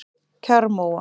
Kjarrmóa